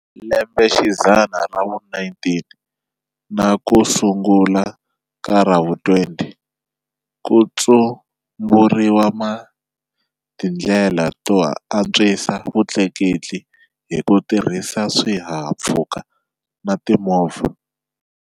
Lembexidzana ra vu 19 nakusungula ka ravu 20, kutsumburiwe tindlela to antswisa vutleketli hi kutirhisa swihahamphfuka na timovha.